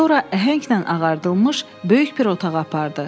Sonra əhənglə ağardılmış böyük bir otağa apardı.